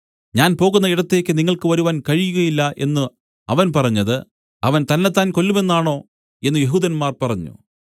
ഞാൻ പോകുന്ന ഇടത്തേക്ക് നിങ്ങൾക്ക് വരുവാൻ കഴിയുകയില്ല എന്നു അവൻ പറഞ്ഞത് അവൻ തന്നെത്താൻ കൊല്ലുമെന്നാണോ എന്നു യെഹൂദന്മാർ പറഞ്ഞു